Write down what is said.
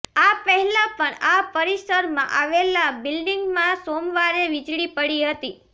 આ પહેલાં પણ આ પરિસરમાં આવેલા બિલ્ડિંગમાં સોમવારે વીજળી પડી હતી